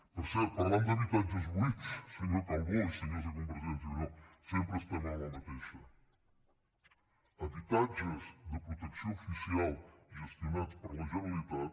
per cert parlant d’habitatges buits senyor calbó i senyors de convergència i unió sempre estem a la mateixa habitatges de protecció oficial gestionats per la generalitat